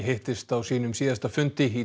hittist á sínum síðasta fundi í